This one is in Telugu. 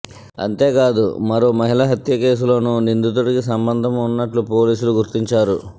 అంతేకాదు మరో మహిళ హత్య కేసులోనూ నిందితుడికి సంబంధం ఉన్నట్లు పోలీసులు గుర్తించారు